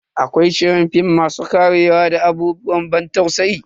Akwai shirin film masu karewa da abubuwan ban tausayi.